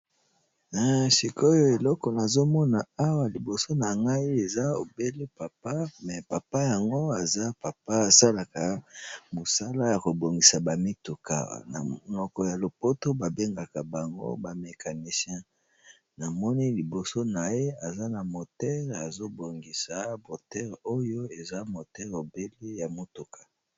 Na sikoyo eloko nazomona awa liboso na ngai eza obele papa me papa yango aza papa asalaka mosala ya kobongisa bamituka namoko ya lopoto babengaka bango bamecanisien namoni liboso na ye eza na motere azobongisa moteure oyo eza motere obele ya motuka.